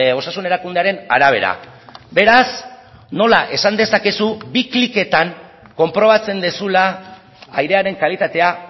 osasun erakundearen arabera beraz nola esan dezakezu bi kliketan konprobatzen duzula airearen kalitatea